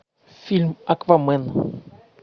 фильм аквамен